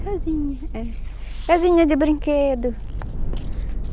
Casinha, é. Casinha de brinquedo.